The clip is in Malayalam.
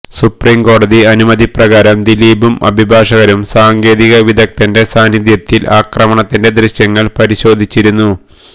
സുപ്രീം കോടതി അനുമതിപ്രകാരം ദിലീപും അഭിഭാഷകരും സാങ്കേതികവിദഗ്ധന്റെ സാന്നിധ്യത്തില് ആക്രമണത്തിന്റെ ദ്യശ്യങ്ങള് പരിശോധിച്ചിരുന്നു